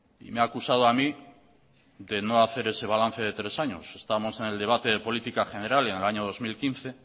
y me ha acusado a mí de no hacer ese balance de tres años estamos en el debate de política general en el año dos mil quince